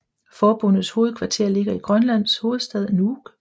Forbundets hovedkvarter ligger i Grønlands hovedstad Nuuk